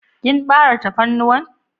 Kin bare tafarnuwan?